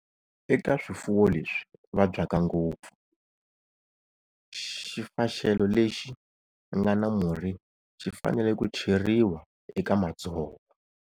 Eka swifuwo leswi vabyaka ngopfu, xifaxelo lexi nga na murhi xi fanele ku cheriwa eka madzovo.